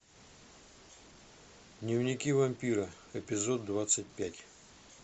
дневники вампира эпизод двадцать пять